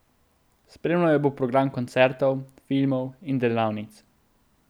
Spremljal jo bo program koncertov, filmov in delavnic.